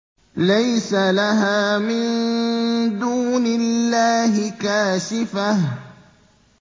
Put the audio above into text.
لَيْسَ لَهَا مِن دُونِ اللَّهِ كَاشِفَةٌ